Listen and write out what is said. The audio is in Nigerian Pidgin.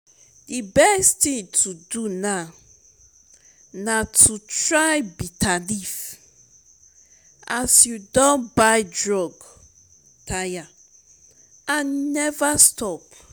the best thing to do now na to try bitterleaf as you don buy drug tire and e never stop